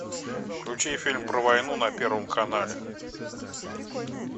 включи фильм про войну на первом канале